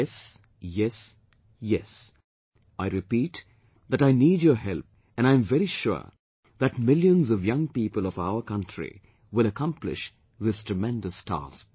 Yes, yes, yes I repeat that I NEED YOUR HELP and I am very sure that millions of young people of our country will accomplish this tremendous task